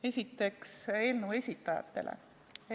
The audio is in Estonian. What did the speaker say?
Esiteks eelnõu esitajatele.